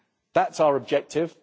That's our objective.